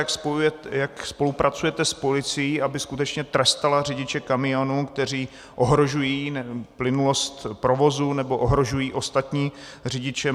Jak spolupracujete s policií, aby skutečně trestala řidiče kamionů, kteří ohrožují plynulost provozu nebo ohrožují ostatní řidiče?